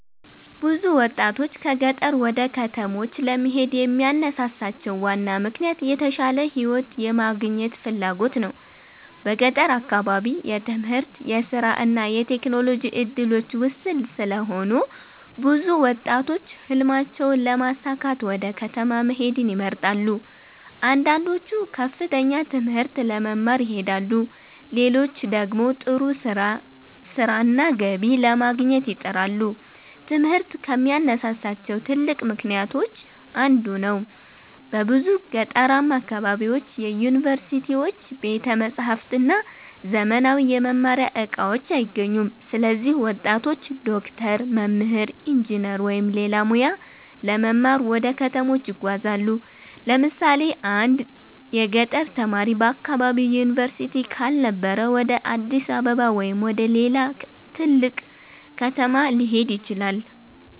ብዙ ወጣቶች ከገጠር ወደ ከተሞች ለመሄድ የሚያነሳሳቸው ዋና ምክንያት የተሻለ ሕይወት የማግኘት ፍላጎት ነው። በገጠር አካባቢ የትምህርት፣ የሥራ እና የቴክኖሎጂ እድሎች ውስን ስለሆኑ ብዙ ወጣቶች ሕልማቸውን ለማሳካት ወደ ከተማ መሄድን ይመርጣሉ። አንዳንዶቹ ከፍተኛ ትምህርት ለመማር ይሄዳሉ፣ ሌሎች ደግሞ ጥሩ ሥራና ገቢ ለማግኘት ይጥራሉ። ትምህርት ከሚያነሳሳቸው ትልቅ ምክንያቶች አንዱ ነው። በብዙ ገጠራማ አካባቢዎች ዩኒቨርሲቲዎች፣ ቤተ መጻሕፍት እና ዘመናዊ የመማሪያ እቃዎች አይገኙም። ስለዚህ ወጣቶች ዶክተር፣ መምህር፣ ኢንጂነር ወይም ሌላ ሙያ ለመማር ወደ ከተሞች ይጓዛሉ። ለምሳሌ አንድ የገጠር ተማሪ በአካባቢው ዩኒቨርሲቲ ካልነበረ ወደ አዲስ አበባ ወይም ወደ ሌላ ትልቅ ከተማ ሊሄድ ይችላል።